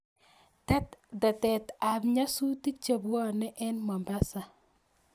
Tetet ab nyasutik chebwane en mombasa